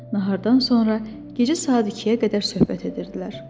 Nahardan sonra gecə saat 2-yə qədər söhbət edirdilər.